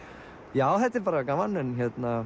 já þetta er bara gaman en